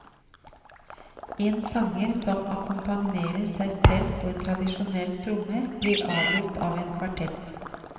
En sanger som akkompagnerer seg selv på en tradisjonell tromme, blir avløst av en kvartett.